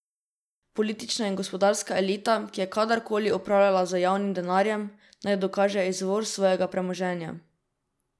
Politična in gospodarska elita, ki je kadar koli upravljala z javnim denarjem, naj dokaže izvor svojega premoženja.